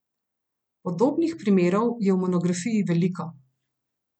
Podobnih primerov je v monografiji veliko.